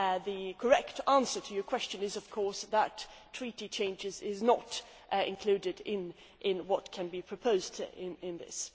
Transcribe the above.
The correct answer to your question is, of course, that Treaty changes are not included in what can be proposed in this.